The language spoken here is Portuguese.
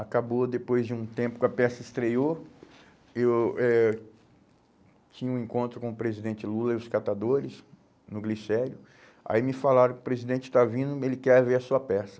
Acabou depois de um tempo que a peça estreou, eu eh tinha um encontro com o presidente Lula e os catadores no Glicério, aí me falaram que o presidente está vindo e ele quer ver a sua peça.